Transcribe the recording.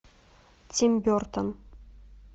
тим бертон